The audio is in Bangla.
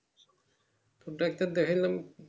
তো doctor দেখলাম।